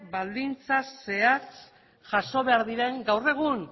baldintza zehatz jaso behar diren gaur egun